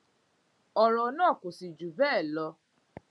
ọrọ náà kò sì jù bẹẹ lọ